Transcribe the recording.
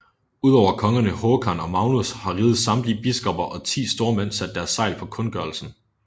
Udover kongerne Håkan og Magnus har rigets samtlige biskopper og ti stormænd sat deres segl på kundgørelsen